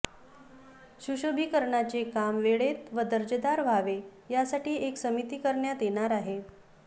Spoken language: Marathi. सुशोभिकरणाचे काम वेळेत व दर्जेदार व्हावे यासाठी एक समिती करण्यात येणार आहे